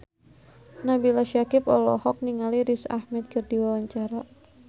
Nabila Syakieb olohok ningali Riz Ahmed keur diwawancara